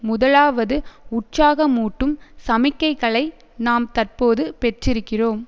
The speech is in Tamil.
முதலாவது உற்சாகமூட்டும் சமிக்கைகளை நாம் தற்போது பெற்றிருக்கிறோம்